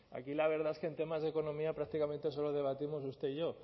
aquí la verdad es que en temas de economía prácticamente solo debatimos usted y yo